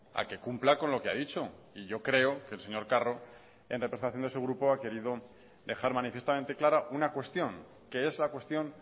a que cumpla con lo que ha dicho y yo creo que el señor carro en representación de su grupo ha querido dejar manifiestamente clara una cuestión que es la cuestión